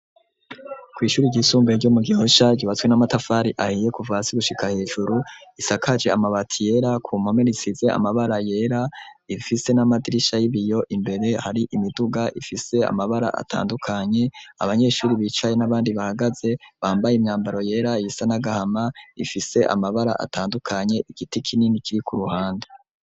Kw'ishure ryisumbaye ryo mu Gihosha ryubatswe n'amatafari ahiye kuva hasi gushika hejuru isakaje amabati yera ku mpome risize amabara yera ifise n'amadirisha y'ibiyo imbere hari imiduga ifise amabara atandukanye; abanyeshure bicaye n'abandi bahagaze bambaye imyambaro yera, iyisa n'agahama ifise amabara atandukanye, igiti kinini kiri ku ruhande.